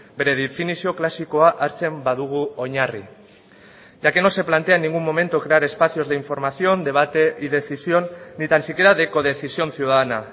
bere definizio klasikoa hartzen badugu oinarri ya que no se plantea en ningún momento crear espacios de información debate y decisión ni tan siquiera de codecisión ciudadana